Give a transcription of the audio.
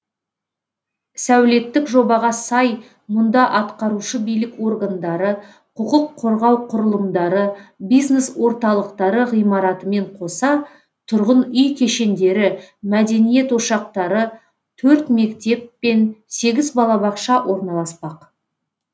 сәулеттік жобаға сай мұнда атқарушы билік органдары құқық қорғау құрылымдары бизнес орталықтары ғимаратымен қоса тұрғын үй кешендері мәдениет ошақтары төрт мектеп пен сегіз балабақша орналаспақ